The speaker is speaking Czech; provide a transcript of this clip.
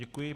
Děkuji.